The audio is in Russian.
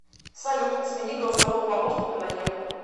салют смени голосового помощника на еву